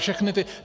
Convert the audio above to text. Všechny ty...